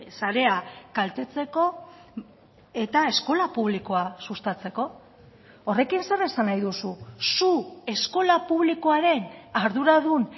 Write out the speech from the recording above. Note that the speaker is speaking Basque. sarea kaltetzeko eta eskola publikoa sustatzeko horrekin zer esan nahi duzu zu eskola publikoaren arduradun